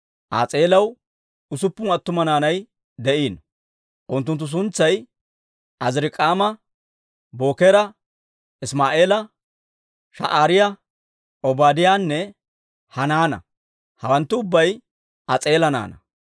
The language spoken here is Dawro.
As'eelaw usuppun attuma naanay de'iino. Unttunttu suntsay Azirik'aama, Bookera, Isimaa'eela, Sha'aariyaa, Obaadiyaanne Hanaana; hawanttu ubbay As'eela naanaa.